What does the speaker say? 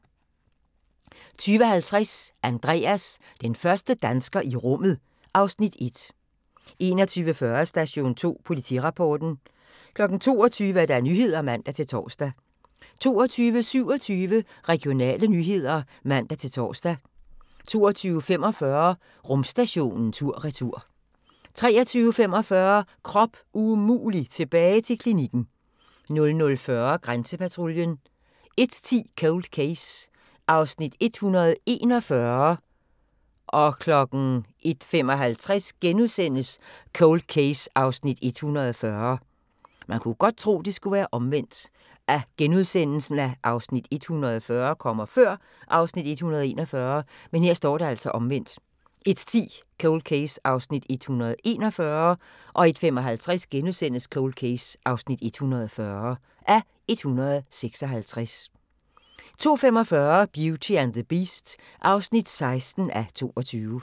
20:50: Andreas – den første dansker i rummet (Afs. 1) 21:40: Station 2 Politirapporten 22:00: Nyhederne (man-tor) 22:27: Regionale nyheder (man-tor) 22:45: Rumstationen tur/retur 23:45: Krop umulig – tilbage til klinikken 00:40: Grænsepatruljen 01:10: Cold Case (141:156) 01:55: Cold Case (140:156)* 02:45: Beauty and the Beast (16:22)